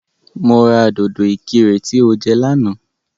Mo ra dòdò ìkirè tí o jẹ lánàá